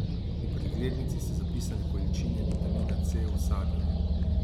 V preglednici so zapisane količine vitamina C v sadju.